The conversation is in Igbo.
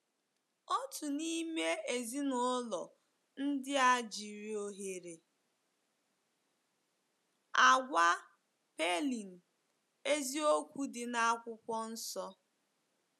Otu n’ime ezinụlọ ndị a jiri ohere a gwa Pailing eziokwu dị na Akwụkwọ Nsọ.